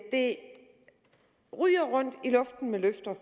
det ryger rundt i luften med løfter